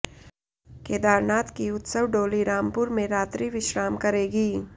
केदारनाथ की उत्सव डोली रामपुर में रात्रि विश्राम करेगी